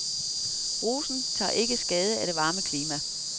Rosen tager ikke skade af det varme klima.